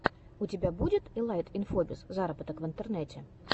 у тебя будет илайт инфобиз зароботок в интернете